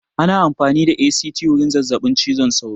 Ana amfani da ACT wurin zazzaɓin cizon sauro